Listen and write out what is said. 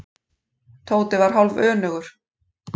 Tóti var hálfönugur.